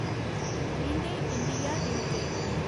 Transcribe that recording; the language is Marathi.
Linde India limited